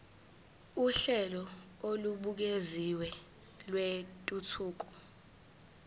uhlelo olubukeziwe lwentuthuko